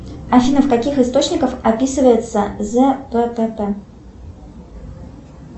афина в каких источниках описывается зппп